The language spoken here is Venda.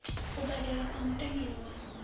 u badelwa sa mutendelo wa